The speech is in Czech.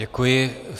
Děkuji.